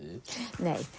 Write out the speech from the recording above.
nei